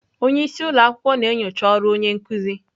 Onye isi ụlọ akwụkwọ na-enyocha ọrụ onye nkuzi.